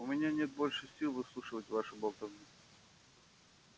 у меня нет больше сил выслушивать вашу болтовню